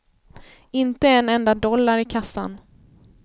Inte en enda dollar i kassan.